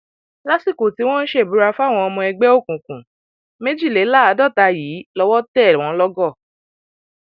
lásìkò tí wọn ń ṣèbúra fáwọn ọmọ ẹgbẹ òkùnkùn méjìléláàádọta yìí lọwọ tẹ wọn lọgọ